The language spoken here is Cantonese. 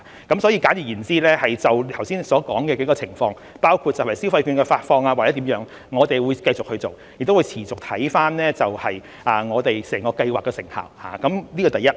簡而言之，就剛才所說的幾個部分，包括消費券的發放或者其他事宜，我們會繼續做，亦會持續看看我們整個計劃的成效，這是第一。